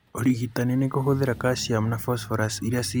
Ũrigitani nĩ kũhũthĩra calcium and phosphorus iria ciraga irio-inĩ.